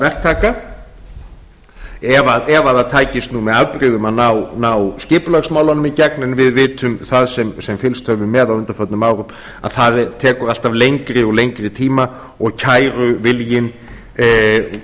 verktaka ef það tækist með afbrigðum að ná skipulagsmálunum í gegn en við vitum það sem fylgst höfum með á undanförnum árum að það tekur alltaf lengri og lengri tíma og kæruviljinn